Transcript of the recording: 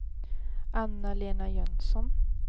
Anna-Lena Jönsson